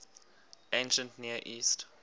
ancient near east